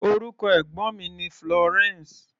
Orúkọ ẹ̀gbọ́n mi ni Florence.